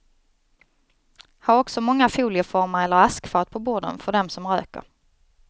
Ha också många folieformar eller askfat på borden för dem som röker.